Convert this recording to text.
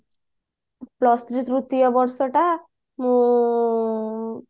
plus three ତୃତୀୟ ବର୍ଷ ଟା ମୁଁ